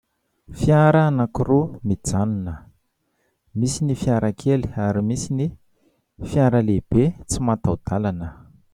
Fiara anankiroa mijanona misy ny fiara kely ary misy ny fiara lehibe tsy mataho-dalana